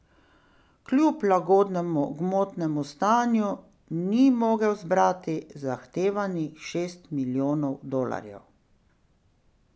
Kljub lagodnemu gmotnemu stanju ni mogel zbrati zahtevanih šest milijonov dolarjev.